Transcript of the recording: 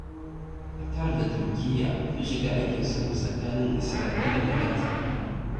Qatar da Turkiyya sun shiga aikin sulhu tsakanin Isra'ila da Gaza.